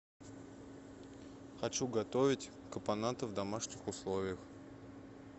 хочу готовить капоната в домашних условиях